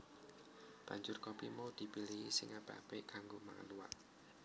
Banjur kopi mau dipilihi sing apik apik kanggo mangan luwak